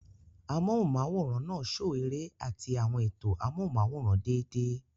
Amóhùnm'áwòrán náà ṣo eré àti àwọn ètò amóhùnm'áwòrán déédéé